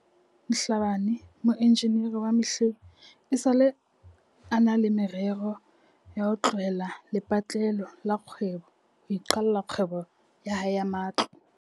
Mhlabane, moenjinere wa mehleng, esale a na le me rero ya ho tlohela lepatlelo la kgwebo ho iqalla kgwebo ya hae ya matlo.